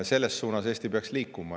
Selles suunas peaks Eesti liikuma.